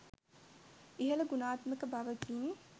ඉහල ගුණාත්මක බවකින්